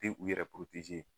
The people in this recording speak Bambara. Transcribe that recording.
Tɛ u yɛrɛ